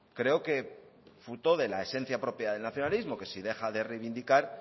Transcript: creo que fruto de la esencia propia del nacionalismo que si deja de reivindicar